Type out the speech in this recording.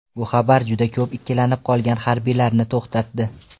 Bu xabar juda ko‘p ikkilanib qolgan harbiylarni to‘xtatdi.